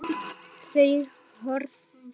Þau horfðu.